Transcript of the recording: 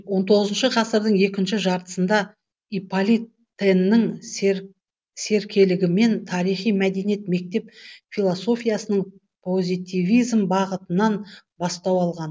он тоғызыншы ғасырдың екінші жартысында иполит тэннің серкелігімен тарихи мәдени мектеп философияның позитивизм бағытынан бастау алған